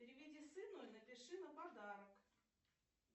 переведи сыну и напиши на подарок